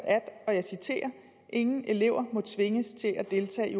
og jeg citerer ingen elever må tvinges til at deltage i